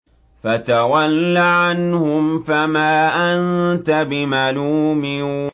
فَتَوَلَّ عَنْهُمْ فَمَا أَنتَ بِمَلُومٍ